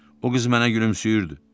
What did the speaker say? O qız mənə gülümsəyirdi.